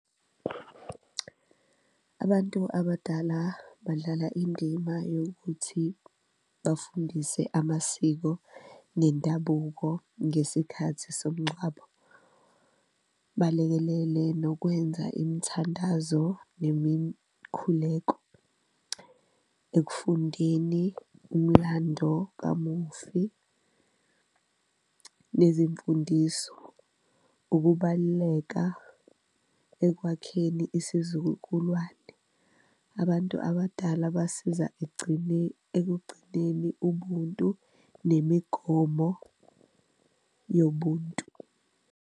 Abantu abadala badlala indima yokuthi bafundise amasiko nendabuko ngesikhathi somngcwabo, balekelele nokwenza imthandazo nemikhuleko, ekufundeni umlando kamufi nezimfundiso, ukubaluleka ekwakheni isizukulwane. Abantu abadala basiza ekugcineni ubuntu nemigomo yobuntu.